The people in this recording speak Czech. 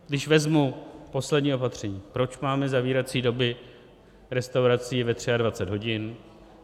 Když vezmu poslední opatření, proč máme zavírací doby restaurací ve 23 hodin.